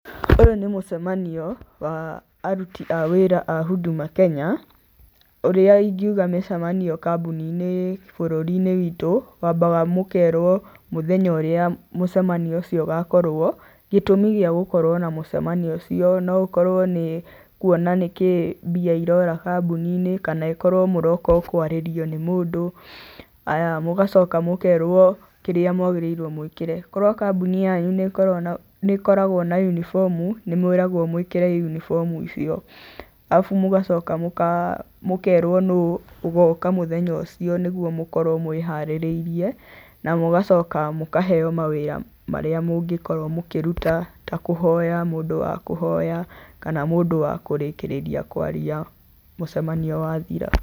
Ũyũ nĩ mũcemanio wa aruti a wĩra a Huduma Kenya, ũrĩa ingiuga mĩcemanio kambuni inĩ bũrũri-inĩ witũ, wambaga mũkerwo mũthenya ũrĩa mũcemanio ũcio ũgakorwo, gĩtũmi gĩa gũkorwo na mũcemanio ũcio, no ũkorwo nĩ kwona nĩkĩĩ mbia irora kambuni-inĩ kana ĩkorwo mũroka o kwarĩrio nĩ mũndũ, haya, mũgacoka mũkerwo kĩrĩa mwagĩrĩirwo mwĩkĩre. Korwo kambuni yanyu nĩ ĩkoragwo na uniform, nĩmwĩragwo mwĩkĩre uniform icio. Arabu mũgacoka mũkerwo nũũ ũgoka mũthenya ũcio nĩgwo mũkorwo mwĩharĩrĩirie, na mũgacoka mũkaheywo mawĩra marĩa mũngĩkorwo mũkĩruta ta kũhoya, mũndũ wakũhoya kana mũndũ wa kũrĩkĩrĩria kwaria mũcemanio wathira.